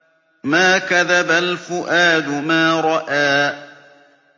مَا كَذَبَ الْفُؤَادُ مَا رَأَىٰ